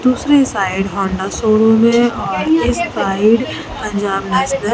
दूसरी side Honda showroom है और इस साइड पंजाब नेशनल --